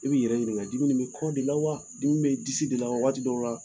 I b'i yɛrɛ ɲininka dimi ni bɛ kɔ de la wa dimi bɛ disi de la waati dɔw la